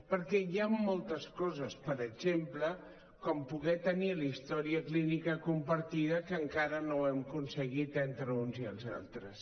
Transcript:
perquè hi han moltes coses per exemple com poder tenir la història clínica compartida que encara no ho hem aconseguit entre uns i els altres